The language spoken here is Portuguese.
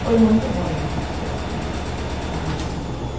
Foi muito ruim isso, assim, né?